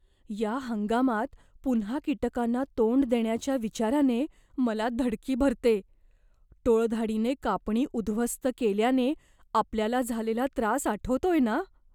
या हंगामात पुन्हा कीटकांना तोंड देण्याच्या विचाराने मला धडकी भरते. टोळधाडीने कापणी उद्ध्वस्त केल्याने आपल्याला झालेला त्रास आठवतोय ना?